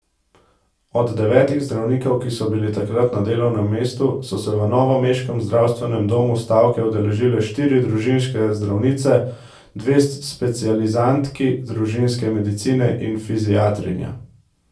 Od devetih zdravnikov, ki so bili takrat na delovnem mestu, so se v novomeškem zdravstvenem domu stavke udeležile štiri družinske zdravnice, dve specializantki družinske medicine in fiziatrinja.